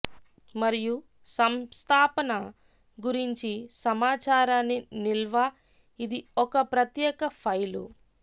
మరియు సంస్థాపన గురించి సమాచారాన్ని నిల్వ ఇది ఒక ప్రత్యేక ఫైలు